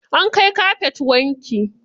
An kai kafet wanki.